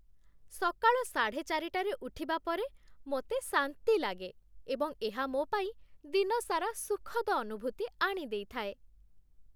ସକାଳ ସାଢ଼େ ଚାରିଟା ରେ ଉଠିବା ପରେ ମୋତେ ଶାନ୍ତି ଲାଗେ ଏବଂ ଏହା ମୋ ପାଇଁ ଦିନସାରା ସୁଖଦ ଅନୁଭୂତି ଆଣି ଦେଇଥାଏ।